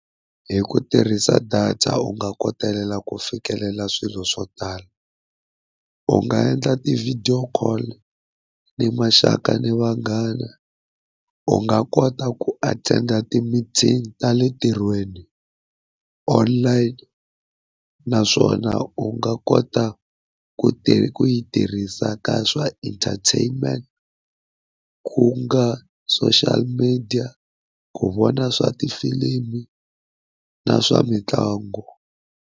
H ku tirhisa data u nga kotelela ku fikelela swilo swo tala, u nga endla ti-video call ni maxaka ni vanghana, u nga kota ku attend ti-meeting ta le ntirhweni online. Naswona u nga kota ku ku yi tirhisa ka swa entertainment, ku nga social media ku vona swa tifilimu na swa mitlangu.